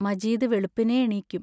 മജീദ് വെളുപ്പിനേ എണീക്കും.